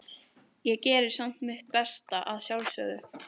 Ég geri samt mitt besta, að sjálfsögðu.